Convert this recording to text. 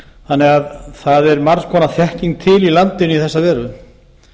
þannig að það er margs konar þekking til í landinu í þessa veru